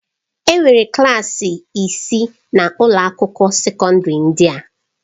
Enwere klaasị isii na ụlọ akwụkwọ sekọndrị ndị a.